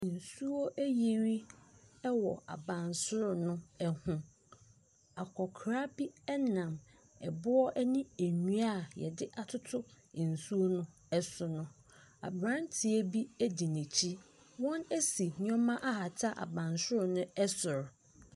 Nsuo ayiri wɔ abansoro no ho. Akɔkora bi nam boɔ ne nnua a wɔde atoto nsuo no so no. Aberanteɛ bi gyina akyire. Wɔasi nneɛma ahata abansoro no soro.